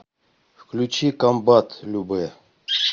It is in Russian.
включи комбат любэ